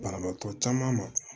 Banabaatɔ caman ma